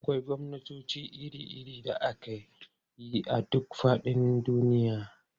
Akwai gwamnatoci iri-iri da ake yi a duk faɗin duniya.